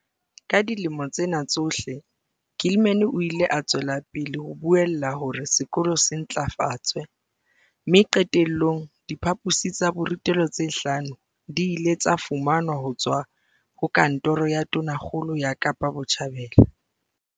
Ka dilemo tsena tsohle, Gilman o ile a tswela pele ho buella hore sekolo se ntlafatswe mme qete llong, diphaposi tsa borutelo tse hlano di ile tsa fumanwa ho tswa ho Kantoro ya Tonakgolo ya Kapa Botjhabela.